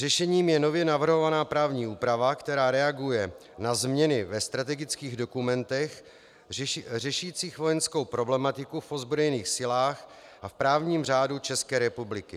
Řešením je nově navrhovaná právní úprava, která reaguje na změny ve strategických dokumentech řešících vojenskou problematiku v ozbrojených silách a v právním řádu České republiky.